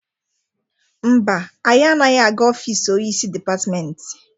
Mba, anyị anaghị aga ofisi onyeisi dịpatịmentị.